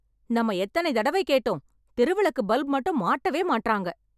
நம்ம எத்தனை தடவை கேட்டோம்? தெருவிளக்கு பல்ப் மட்டும் மாட்டவே மாட்றாங்க